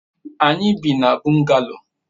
anyi bi na bungalow